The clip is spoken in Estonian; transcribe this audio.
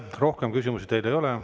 Rohkem küsimusi teile ei ole.